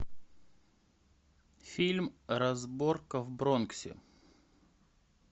фильм разборка в бронксе